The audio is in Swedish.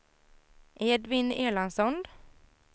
Edvin Erlandsson